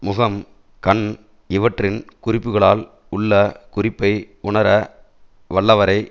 முகம் கண் இவற்றின் குறிப்புக்களால் உள்ள குறிப்பை உணர வல்லவரை